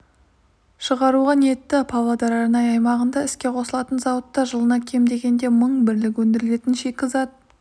шығаруға ниетті павлодар арнайы аймағында іске қосылатын зауытта жылына кем дегенде мың бірлік өндіріледі шикізат